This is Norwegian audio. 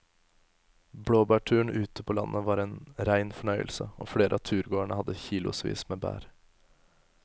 Blåbærturen ute på landet var en rein fornøyelse og flere av turgåerene hadde kilosvis med bær.